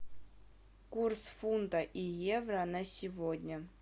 курс фунта и евро на сегодня